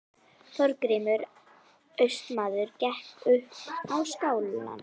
Þorgrímur Austmaður gekk upp á skálann.